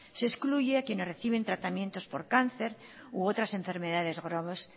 se excluye a quienes reciben tratamientos por cáncer u otras enfermedades